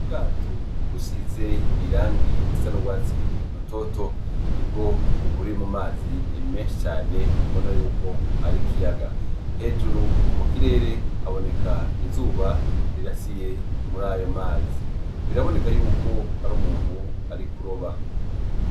Ubwato busiz'irangi risa n'ugwatsi rutoto, nibwo buri mu mazi menshi cane ubona yuko ar'ikiyaga , hejuru mukirere haboneka izuba rirasiye murayo mazi biraboneka yuko ar'umuntu ari kuroba.